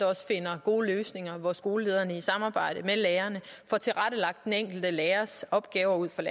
finder gode løsninger hvor skolelederne i samarbejde med lærerne får tilrettelagt den enkelte lærers opgaver ud fra